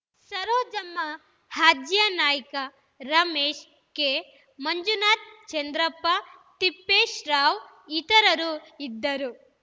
Sarojamma Hajyanaik Ramesh K Manjunath Chandrappa Tippeshrao ಇತರರು ಇದ್ದರು